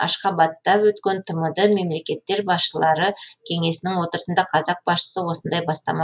ашхабадта өткен тмд мемлекеттер басшылары кеңесінің отырысында қазақ басшысы осындай бастама